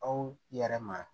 Aw yɛrɛ ma